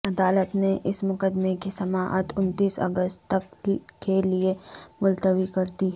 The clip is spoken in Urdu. عدالت نے اس مقدمے کی سماعت انتیس اگست تک کے لیے ملتوی کردی